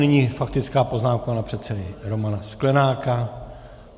Nyní faktická poznámka pana předsedy Romana Sklenáka.